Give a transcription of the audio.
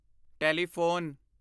telephone